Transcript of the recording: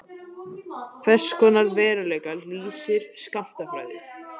Hvers konar veruleika lýsir skammtafræði?